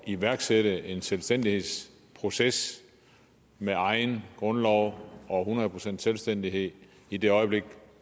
iværksætte en selvstændighedsproces med egen grundlov og hundrede procent selvstændighed i det øjeblik